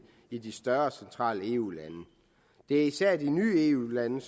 i de større centrale eu lande det er især de nye eu lande